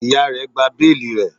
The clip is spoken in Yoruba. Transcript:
Iya rẹ gba beeli rẹ